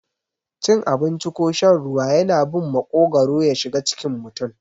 Cin abinci ko shan ruwa yana bin maƙogwaro yashiga cikin mutum.